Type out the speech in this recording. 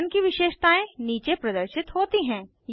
pattern की विशेषतायें नीचे प्रदर्शित होती हैं